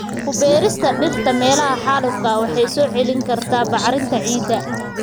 Ku beerista dhirta meelaha xaalufka ah waxay soo celin kartaa bacrinta ciidda.